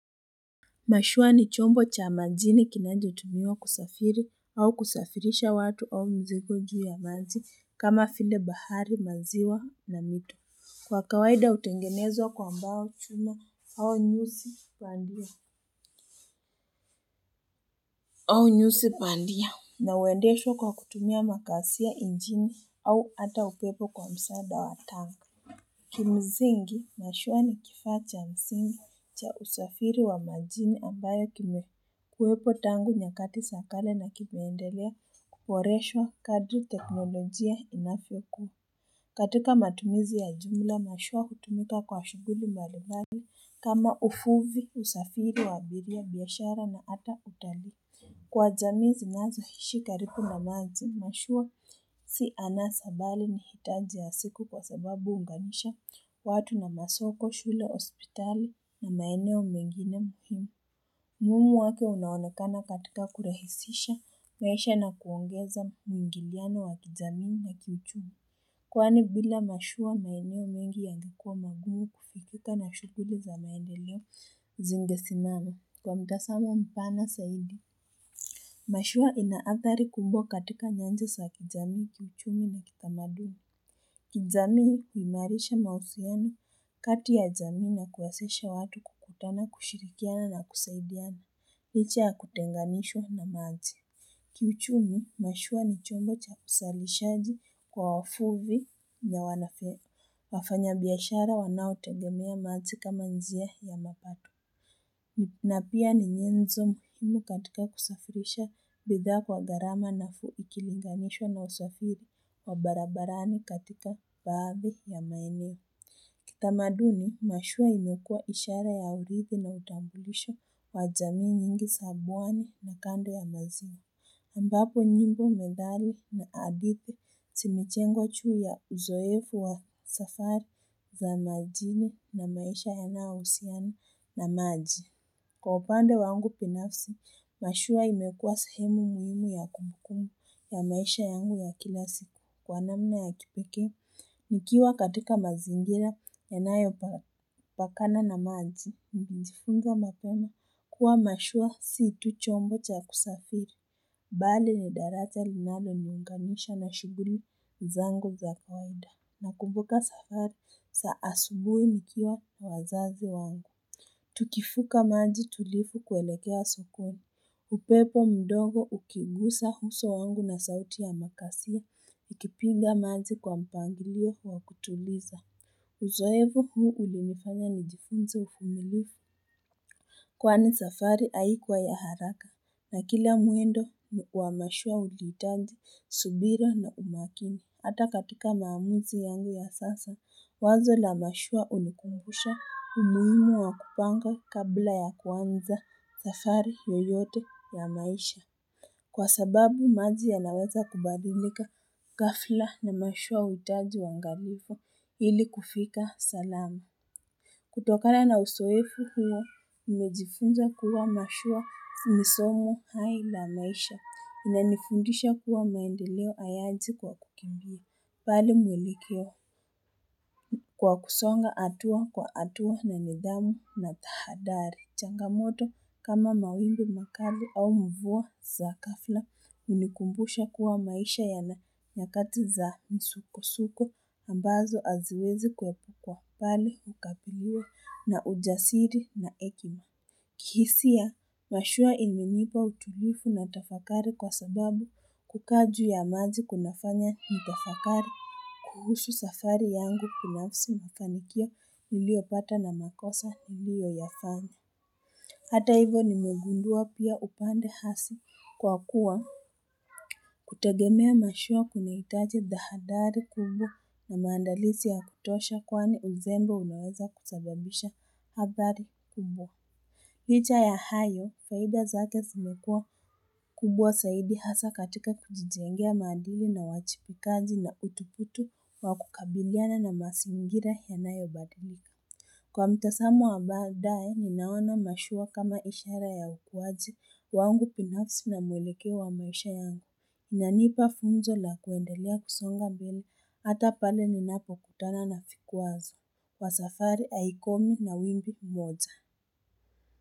Mashua ni chombo cha majini kinacho tumiwa kusafiri au kusafirisha watu au mzigo juu ya maji kama vile bahari maziwa na mito. Kwa kawaida utengenezwa kwa mbao chuma au nyusi bandia au nyusi pandia na uendeshwa kwa kutumia makasia engine au ata upepo kwa msada wa tangu. Kimzingi mashua ni kifaa cha msingi cha usafiri wa majini ambayo kime kuwepo tangu nyakati sa kale na kimeendelea kuporeswa kadri teknolojia inavyokua katika matumizi ya jumla mashua hutumika kwa shuguli mbalimbali kama uvuvi usafiri wa abiria biashara na ata utalii Kwa jamii zinazo hishi karibu na maji, mashua si anasa bali ni hitaji ya siku kwa sababu uunganisha watu na masoko, shule, ospitali na maeneo mengine muhimu. Umuhimu wake unaonekana katika kurahisisha, maisha na kuongeza mwingiliano wa kijamii na kiuchu. Kwani bila mashua maeneo mengi yangekuwa magumu kufikika na shuguli za maendeleo zingesimama kwa mtazamo mpana saidi. Mashua inaathari kubwa katika nyanja sa kijamii, kiuchumi na kitamadumi. Kijamii huimarisha mahusiano kati ya jamii na kuwezesha watu kukutana, kushirikiana na kusaidiana, licha ya kutenganishwa na maji. Kiuchumi, mashua ni chombo cha usalishaji kwa wafuvi na wanafeno. Wafanya biashara wanao tengemea maji ka ma njia ya mapato. Napia ni nyenzo muhimu katika kusafirisha bidhaa kwa garama na fuikilingamishwa na usafiri wa barabarani katika baadhi ya maeneo. Kitamaduni, mashua imekuwa ishara ya urithi na utambulisho wajamii nyingi sabuani na kando ya maizini. Ambapo nyimbo methali na adithi zimejengwa juu ya uzoefu wa safari za majini na maisha yanayohusiana na maji. Kwa upande wangu binafsi, mashua imekua sehemu muhimu ya kumbukumbu ya maisha yangu ya kila siku kwa namna ya kipekee. Nikiwa katika mazingira ya nayo pakana na maji, mbindifunga matono kuwa mashua situ chombo cha kusafiri. Mbali ni daraja linalo niunganisha na shuguli zangu za kawaida. Nakumbuka safari saa asubui nikiwa wazazi wangu. Tukifuka maji tulifu kuelekea sokoni. Upepo mdogo ukigusa huso wangu na sauti ya makasio. Ikipinga manji kwa mpangilio wa kutuliza. Uzoefu huu ulinifanya nijifunze ufumilifu. Kwani safari haikuwa ya haraka. Na kila mwendo wa mashua uliitaji, subira na umakini. Hata katika maamuzi yangu ya sasa, wazo la mashua unikumbusha umuhimu wa kupanga kabla ya kuanza, safari, yoyote, ya maisha. Kwa sababu maji ya naweza kubadilika, gafla na mashua uhitaji uangalifu ili kufika salama. Kutokana na usoefu huo, nimejifunza kuwa mashua ni somo hai la maisha. Inanifundisha kuwa maendeleo ayaji kwa kukimbia. Pali mwelekeo kwa kusonga atua kwa atua na nidhamu na tahadhari. Changamoto kama mawimbi makali au mvua za gafla unikumbusha kuwa maisha yana nyakati za msuko-suko ambazo aziwezi kuhepu kwa bali ukabiliwa na ujasiri na ekima. Kihisia, mashua imenipa utulifu na tafakari kwa sababu kukaa juu ya maji kunafanya nitafakari. Kuhusu safari yangu binafsi mafanio niliopata na makosa niliyo yafanya. Hata hivo ni megundua pia upande hasi kwa kuwa kutegemea mashua kunaitaji tahadhari kubwa na maandalisi ya kutosha kwani uzembe unaweza kusababisha hadhari kubwa. Licha ya hayo, faida zake zimekuwa kubwa saidi hasa katika kujijengea maadili na uwajibikaji na utuputu wa kukabiliana na masingira yanayo badilika. Kwa mtasamo wa baadae, ninaona mashua kama ishara ya ukuwaji, wangu binafsi na mwelekeo wa maisha yangu. iNanipa funzo la kuendelea kusonga mbele, ata pale ninapo kutana na vikwazo. Wasafari aikomi na windi moja.